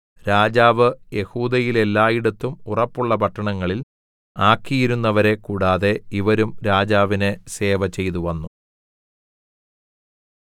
രാജാവ് യെഹൂദയിലെല്ലായിടത്തും ഉറപ്പുള്ള പട്ടണങ്ങളിൽ ആക്കിയിരുന്നവരെ കൂടാതെ ഇവരും രാജാവിന് സേവ ചെയ്തുവന്നു